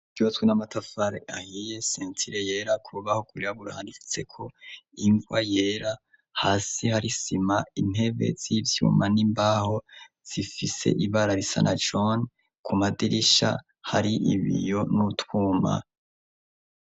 Ryubatswe n'amatafari ahiye sentire yera kubaho kuryaburhani ifitse ko invwa yera hasi hari sima intebe z'ibyuma n'imbaho zifise ibara risa na jon ku madirisha hari ibiyo n'utwuma.